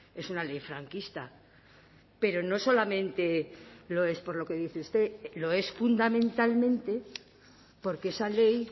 es una ley franquista pero no solamente lo es por lo que dice usted lo es fundamentalmente porque esa ley